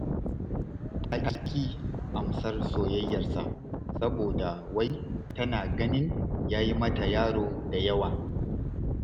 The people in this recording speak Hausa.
Ta ƙi amsar soyayyarsa saboda wai tana ganin ya yi mata yaro da yawa